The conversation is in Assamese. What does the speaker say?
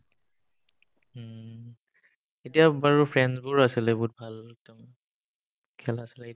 উম্, এতিয়া বাৰু friends বোৰ আছিলে বহুত ভাল একদম খেলা আছিলে